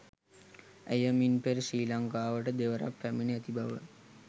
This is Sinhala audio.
ඇය මින් පෙර ශ්‍රී ලංකාවට දෙවරක් පැමිණ ඇති බව